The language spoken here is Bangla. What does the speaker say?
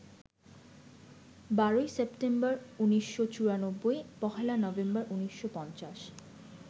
১২ই সেপ্টেম্বর, ১৮৯৪ - ১লা নভেম্বর, ১৯৫০